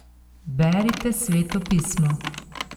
Berite Sveto pismo!